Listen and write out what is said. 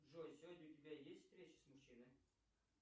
джой сегодня у тебя есть встреча с мужчиной